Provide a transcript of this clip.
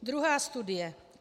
Druhá studie.